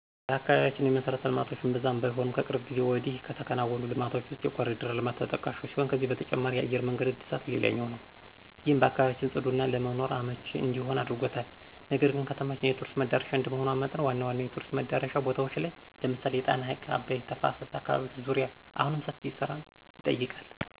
በአካባቢያችን የመሠረተ ልማቶች እምብዛም ባይሆኑም ከቅርብ ጊዜ ወዲህ ከተከናወኑ ልማቶች ውስጥ የኮርዲር ልማት ተጠቃሹ ሲሆን ከዚህ በተጨማሪ የአየር መንገድ እድሳት ሌላኛው ነው። ይህም አካባቢያችን ፅዱና ለመኖር አመቺ እንዲሆን አድርጎታል። ነገር ግን ከተማችን የቱሪስት መዳረሻ እንደመሆኗ መጠን ዋና ዋና የቱሪስት መዳረሻ ቦታዎች ላይ ለምሳሌ የጣና ሀይቅና አባይ ተፋሰስ አካባቢዎች ዙሪያ አሁንም ሰፊ ስራን ይጠይቃል።